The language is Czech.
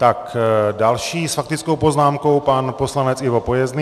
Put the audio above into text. Tak další s faktickou poznámkou pan poslanec Ivo Pojezný.